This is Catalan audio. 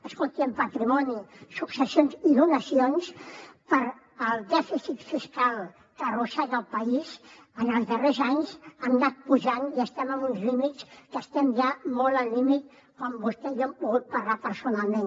escolti en patrimoni successions i donacions pel dèficit fiscal que arrossega el país en els darrers anys hem anat pujant i estem en uns límits que estem ja molt al límit com vostè i jo hem pogut parlar personalment